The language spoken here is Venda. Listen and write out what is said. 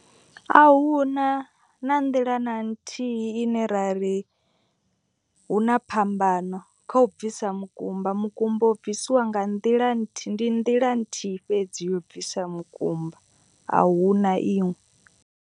A huna na nḓila na nthihi ine ra ri hu na phambano kha u bvisa mukumba. Mukumba u bvisiwa nga nḓila nthihi ndi nḓila nthihi fhedzi yo bvisa makumba a hu na iṅwe.